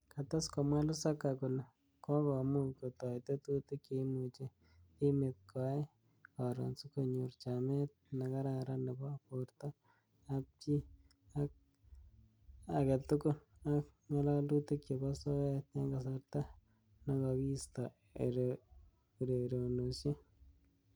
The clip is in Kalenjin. Kates komwa Lusaga kole, kokomuch kotoi tetutik cheimuchi timit koai karon sikonyor chamet nekararan nebo borto ab chi age tugul ak ng'alalutik chebo soet eng kasarta nekokiisto ererenoshek.